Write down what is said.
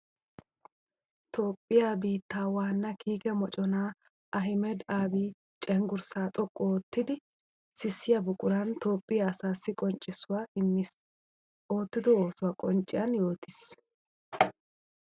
Toophphiya biitta waana kiikke mocona Ahmeda Abiy cenggurssa xoqqu oottiddi sissiya buquran Toophphiya asaassi qonccissuwa imees. Ootiddo oosuwa qoncciyan yootees.